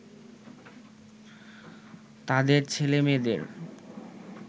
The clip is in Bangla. তাদের ছেলে-মেয়েদের